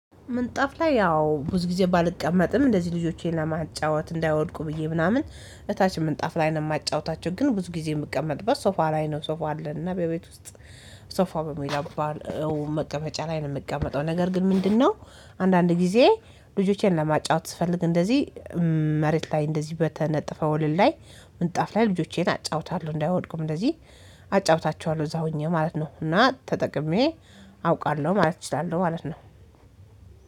ምንጣፍ ላይ ያው ብዙ ጊዜ ባልቀመጥም እንደዚህ ልጆቼን ለማጫወት እንዳይወድቁ ብዬ ምናምን እታች ምንጣፍ ላይ ነው የማጫወታቸው። ግን ብዙ ጊዜ የምቀመጥበት ሶፋ ላይ ነው ሶፋ አለን። እና በቤት ውስጥ ሶፋ በሚል አባል መቀመጫ ላይ ነው የምቀመጠው። ነገር ግን ምንድነው? አንዳንድ ጊዜ ልጆቼን ለማጫወት ስፈልግ እንደዚህ መሬት ላይ እንደዚህ በተነጠፈ ወለል ላይ ምጣፍ ላይ ልጆቼን አጫውታለሁ እንዳይወድቁም እንደዚህ አጫውታቸዋለሁ እዛ ሆኜ ማለት ነው። እና ተጠቅሜ አውቃለሁ ማለት እችላለሁ ማለት ነው።